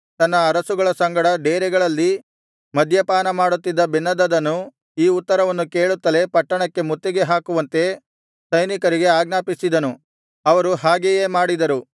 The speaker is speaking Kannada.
ತನ್ನ ಅರಸುಗಳ ಸಂಗಡ ಡೇರೆಗಳಲ್ಲಿ ಮದ್ಯಪಾನ ಮಾಡುತ್ತಿದ್ದ ಬೆನ್ಹದದನು ಈ ಉತ್ತರವನ್ನು ಕೇಳುತ್ತಲೇ ಪಟ್ಟಣಕ್ಕೆ ಮುತ್ತಿಗೆ ಹಾಕುವಂತೆ ಸೈನಿಕರಿಗೆ ಆಜ್ಞಾಪಿಸಿದನು ಅವರು ಹಾಗೆಯೇ ಮಾಡಿದರು